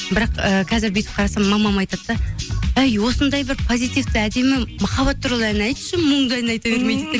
бірақ і қазір бүйтіп қарасам мамам айтады да әй осындай бір позитивті әдемі махаббат туралы ән айтшы мұңды ән айта бермей дейді де